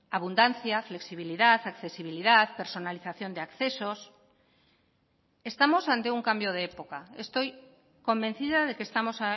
abundancia flexibilidad accesibilidad personalización de accesos estamos ante un cambio de época estoy convencida de que estamos